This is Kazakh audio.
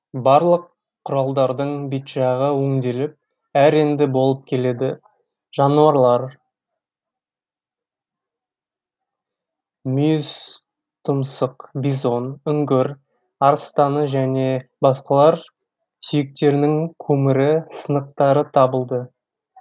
барлық кұралдардың бет жағы өңделіп әр ренді болып келеді жануарлар мүйізтұмсық бизон үңгір арыстаны және басқалар сүйектерінің көмірі сынықтары табылды